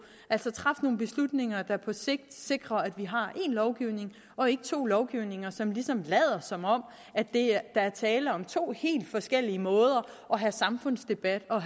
altså træffe nogle beslutninger der på sigt sikrer at vi har én lovgivning og ikke to lovgivninger som ligesom lader som om der er tale om to helt forskellige måder at have samfundsdebat og